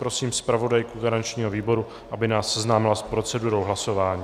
Prosím zpravodajku garančního výboru, aby nás seznámila s procedurou hlasování.